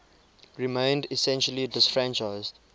remained essentially disfranchised